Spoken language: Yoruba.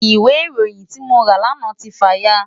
Ìwé ìròyìn tí mo rà lánàá ti fà ya.